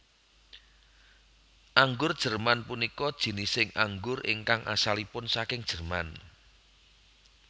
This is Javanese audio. Anggur Jerman punika jinising anggur ingkang asalipun saking Jerman